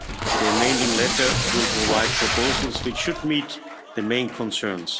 The amending letter will provide proposals, which should meet the main concerns.